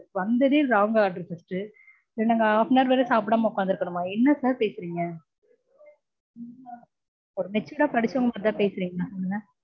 வந்ததே wrong order first. இதுல நாங்க half an hour வேற சாப்டாம உட்கார்ந்திருக்கனுமா? என்ன sir பேசறீங்க? ஒரு matured ஆ படிச்சவங்கக்கிட்ட மாதிரிதா பேசறீங்களா சொல்லுங்க.